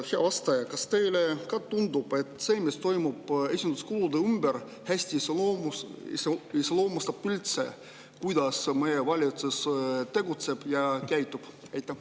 Hea vastaja, kas teile ka tundub, et see, mis toimub esinduskulude ümber, iseloomustab üldse hästi seda, kuidas meie valitsus tegutseb ja käitub?